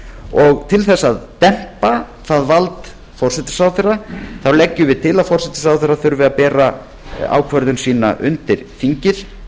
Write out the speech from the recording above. og til þess að dempa það vald forsætisráðherra leggjum við til að forsætisráðherra þurfi að bera ákvörðun sína undir þingið